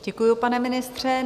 Děkuji, pane ministře.